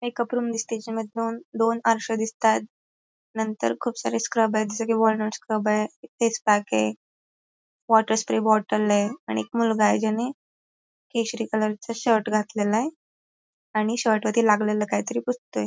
एक अप्रून जेच्या मधून दोन आरसे दिसतायेत नंतर खूप सारे स्क्रब आहेत जसं की वॉलनट स्क्रब आहे फेस पॅक आहे वॉटर स्प्रे बॉटल आहे आणि एक मुलगा आहे ज्याने केसरी कलरचा शर्ट घातलेला आहे आणि शर्ट वरती लागलेलं काहीतरी पुसतोय.